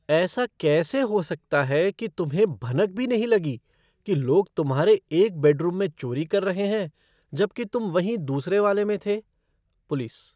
ऐसा कैसा हो सकता है कि तुम्हें भनक भी नहीं लगी कि लोग तुम्हारे एक बेडरूम में चोरी कर रहे हैं, जबकि तुम वहीं दूसरे वाले में थे? पुलिस